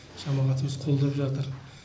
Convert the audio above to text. жамағатымыз қолдап жатыр